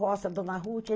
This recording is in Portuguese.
Rocha, a Dona Ruth.